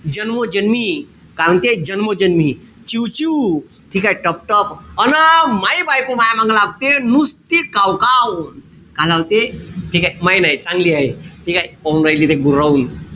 ठीकेय? जन्मोजन्मी का म्हणते? जन्मोजन्मी. चिवचिव. ठीकेय? टकटक. अन म्याहि बायको माह्या मांग लागते. नुसती कावकाव. का लावते. ठीकेय? मही नाई. चांगली हाये. ठीकेय? पाहून राहिली ते गुरावून.